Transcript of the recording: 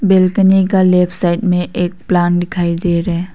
बेलकनी का left side में एक प्लांट दिखाई दे रहा--